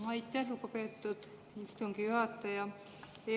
Aitäh, lugupeetud istungi juhataja!